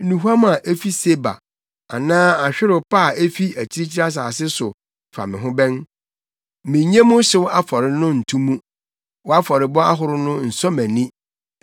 Nnuhuam a efi Seba anaa ahwerew pa a efi akyirikyiri asase so fa me ho bɛn? Minnye wo hyew afɔre no nto mu, wʼafɔrebɔ ahorow no nsɔ mʼani.”